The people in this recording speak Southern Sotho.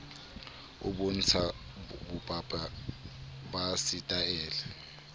o bontsha bopaki ba setaele